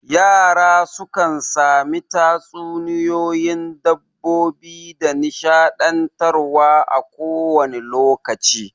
Yara sukan sami tatsuniyoyin dabbobi da nishaɗantar wa a ko wane lokaci